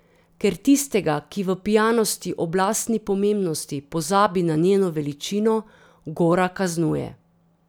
Ker tistega, ki v pijanosti ob lastni pomembnosti pozabi na njeno veličino, gora kaznuje.